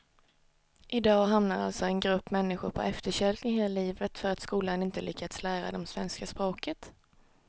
I dag hamnar alltså en grupp människor på efterkälken hela livet för att skolan inte lyckats lära dem svenska språket.